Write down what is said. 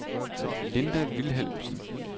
Linda Vilhelmsen